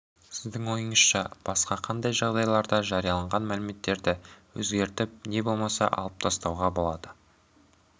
сіздің ойыңызша басқа қандай жағдайларда жарияланған мәліметті өзгертіп не болмаса алып тастауға болады